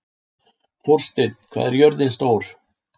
Þórsteinn, hvað er jörðin stór?